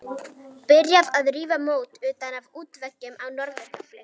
Byrjað að rífa mót utan af útveggjum á norður gafli.